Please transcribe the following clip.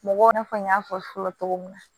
Mɔgɔw na fɔ n y'a fɔ fɔlɔ cogo min na